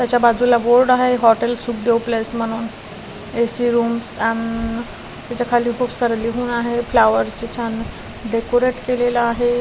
त्याच्या बाजूला बोर्ड आहे हॉटेल सुखदेव प्लेस म्हणून ए_सी रूम्स अण त्याच्या खाली खूप सार लिहून आहे फ्लावर ची छान डेकोरेट केलेला आहे.